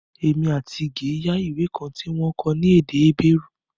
Èmi àti Ige yá ìwé kan tí wọ́n kọ ní èdè Hébérù